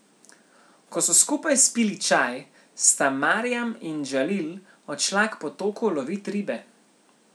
Ko so skupaj spili čaj, sta Marjam in Džalil odšla k potoku lovit ribe.